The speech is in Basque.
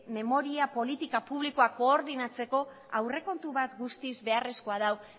memoria politika publikoak koordinatzeko aurrekontu bat guztiz beharrezko du